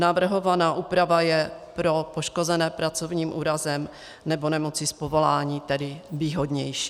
Navrhovaná úprava je pro poškozené pracovním úrazem nebo nemocí z povolání tedy výhodnější.